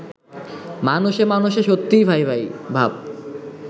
মানুষে মানুষে সত্যিই ভাই-ভাই ভাব